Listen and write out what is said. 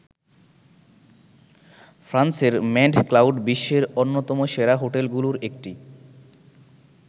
ফ্রান্সের Manned Cloud বিশ্বের অন্যতম সেরা হোটেলগুলোর একটি।